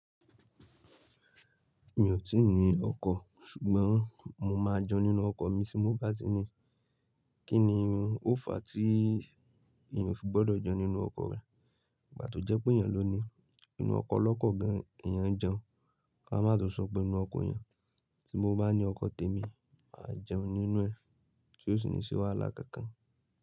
Mi ò tíì ní ọkọ̀, ṣùgbọ́n mo máa jẹun nínú ọkọ̀ mi tí mo bá ti ní i. Kí ni irun, ó fà tí èèyàn fi gbọ́dọ̀ jẹun nínú ọkọ̀ rẹ̀? Bà tó jẹ́ pé èèyàn ló ní i. Nínú ọkọ̀ lọ́kọ̀ gan-an èèyàn ń jẹun, ká má tó sọ pé inú ọkọ̀ yẹn. Tí mo bá ní ọkọ̀ tèmi, mà á jẹun nínú ẹ̀, tí ó sì ní ṣẹ́ wáhalà kankan.